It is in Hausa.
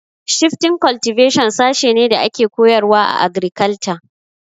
Shifting cultivation sashe ne da ake koyarwa a agrikalture